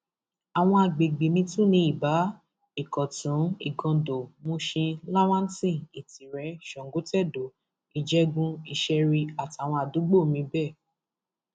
àwọn agbègbè miín tún ni ibà ìkótùnigando mushin lawanson ìtirẹ sangotedo ìjẹgunisherí àtàwọn àdúgbò miín bẹẹ